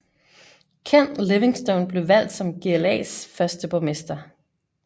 Ken Livingstone blev valgt som GLAs første borgmester